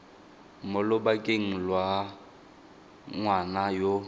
mo lobakeng lwa ngwana yo